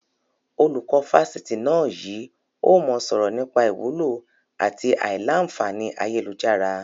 Olùkọ́ Fásitì náà yìí ó mọ sọ̀rọ̀ nípa ìwúlò àti a ìlà-a fàáni ayélujára.